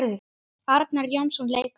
Arnar Jónsson leikari